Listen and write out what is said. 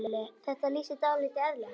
Þetta lýsir dálítið eðli hennar.